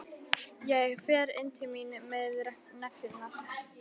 Ég fer inn til mín með neglurnar.